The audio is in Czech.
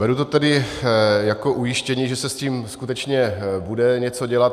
Beru to tedy jako ujištění, že se s tím skutečně bude něco dělat.